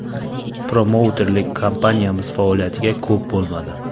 Promouterlik kompaniyamiz faoliyatiga ko‘p bo‘lmadi.